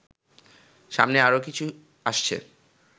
সামনে আরো কিছু আসছে